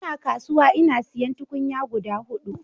Ina kasuwa ina siyan tukunya guda hudu